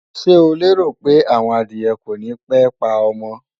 Ṣé o lérò pé àwọn adìẹ kònípé pa ọmọ?